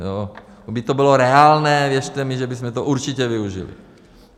Kdyby to bylo reálné, věřte mi, že bychom to určitě využili.